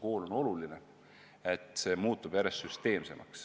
Just lapseeas tekib liikumisharjumus.